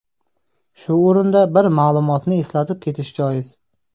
Shu o‘rinda bir ma’lumotni eslatib ketish joiz.